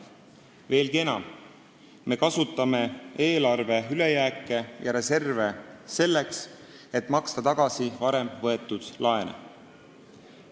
Veelgi enam, me kasutame eelarve ülejääki ja reserve selleks, et maksta tagasi varem võetud laene.